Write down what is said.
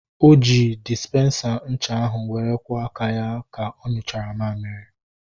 O ji dịsipensa ncha ahu were kwọ aka ya ka onyuchara mmamịrị